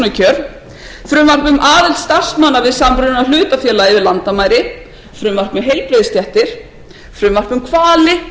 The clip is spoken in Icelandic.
um aðild starfsmanna við samruna hlutafélaga yfir landamæri frumvarp um heilbrigðisstéttir frumvarp um hvali